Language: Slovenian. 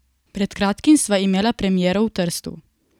Pred kratkim sva imela premiero v Trstu.